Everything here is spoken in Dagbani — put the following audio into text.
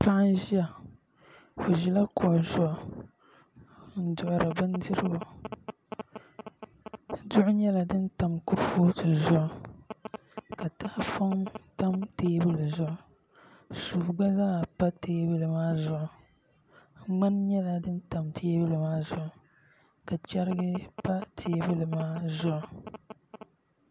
Paɣa n ʒiya o ʒila kuɣu zuɣu n duɣuri bindirigu duɣu nyɛla din tam kurifooti zuɣu ka tahapoŋ tam teebuli zuɣu suu gba zaa pa teebuli maa zuɣu ŋmani nyɛla din tam teebuli maa zuɣu ka chɛrigi pa teebuli maa zuɣu